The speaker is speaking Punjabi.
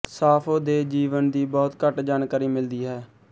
ਸਾਫ਼ੋ ਦੇ ਜੀਵਨ ਦੀ ਬਹੁਤ ਘੱਟ ਜਾਣਕਾਰੀ ਮਿਲਦੀ ਹੈ